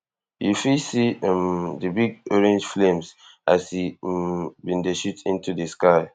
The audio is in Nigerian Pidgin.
you fit see um di big orange flames as e um bin dey shoot into di sky